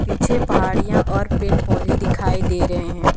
पीछे पहाड़ियां और पेड़ पौधे दिखाई दे रहे हैं।